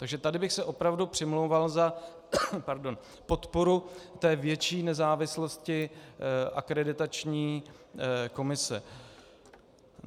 Takže tady bych se opravdu přimlouval za podporu té větší nezávislosti akreditační komise.